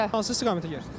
Hansı istiqamətə gedirsiz?